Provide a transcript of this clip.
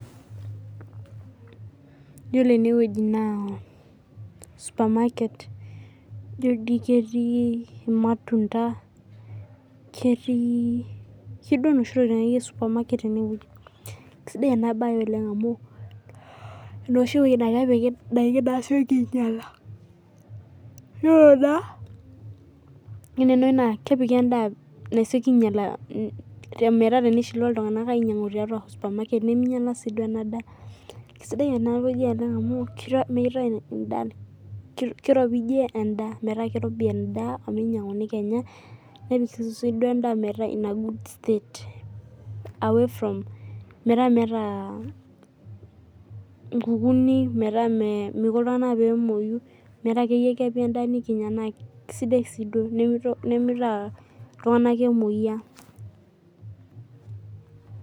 Yiolo enewueji naa supermarket ijio doi ketii irmatunda ketii inoshi tokiotin akeyie e supermarket enewueji sidai ena baye oleng' amu enoshi wueji naa kepiki ndaiki naasioki ainyiala ore enewueji naa kepiki endaa nasioki ainyiala metaa tenimutie iltung'anak ainyiang'u te supermarket neminyiala